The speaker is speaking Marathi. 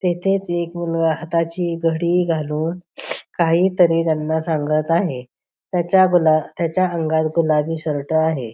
तेथेच एक मुलगा हाताची घडी घालून काहीतरी त्याना सांगत आहे तेच्या गुलाबी तेच्या अंगात गुलाबी शर्ट आहे.